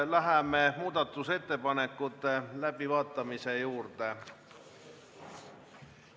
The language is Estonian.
Läheme siis muudatusettepanekute läbivaatamise juurde.